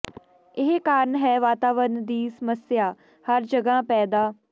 ਇਹ ਕਾਰਨ ਹੈ ਵਾਤਾਵਰਣ ਦੀ ਸਮੱਸਿਆ ਹਰ ਜਗ੍ਹਾ ਪੈਦਾ